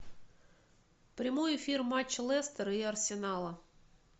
прямой эфир матча лестер и арсенала